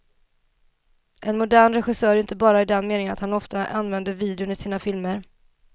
En modern regissör, inte bara i den meningen att han ofta använder videon i sina filmer.